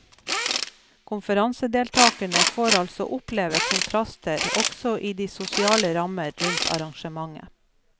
Konferansedeltakerne får altså oppleve kontraster også i de sosiale rammer rundt arrangementet.